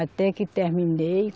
Até que terminei.